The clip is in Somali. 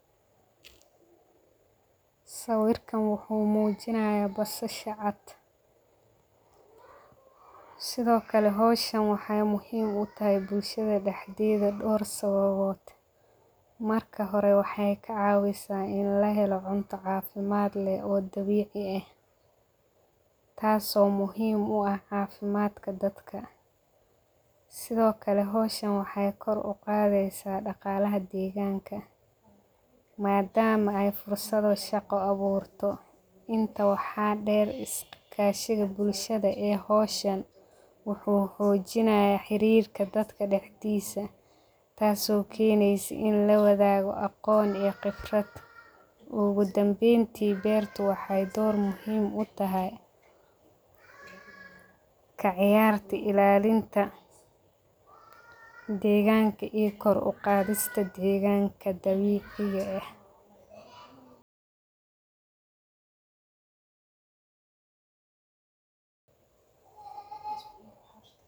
Sawirkan wuxuu mujinayaa basasha caad, sitho kalee wexee muhiim u tahay bulshadaa daxdedha door sababod, marka horee wexee ka cawisaa ini lahelo cunta cafimaad leh o dabici ah, taso muhiim u ah cafimaadka dadka, sitho kalee howshan wexee koor u qadheysaa daqalaha deganka, madama ee fursado shaqa abuurto, intaa waxaa deer iskashada bulshada ee xojinaya xaririka dadka daxdoda, taso keneysaa ini lawadhago aqon iyo qiibrad, ogu danbenta beerta wexee door muhiim utahay, kaciyartaa, ilalinta deganka iyo koor u qadhista deganka dabiciga eh,